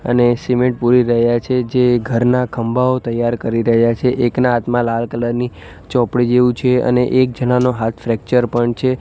અને સિમેન્ટ પુરી રહ્યા છે જે ઘરના ખંભાઓ તૈયાર કરી રહ્યા છે એકના હાથમાં લાલ કલર ની ચોપડી જેવું છે અને એક જણાનો હાથ ફ્રેકચર પણ છે.